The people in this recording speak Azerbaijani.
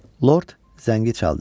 Lord zəngi çaldı.